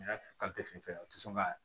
N y'a fɔ fɛ u ti sɔn ka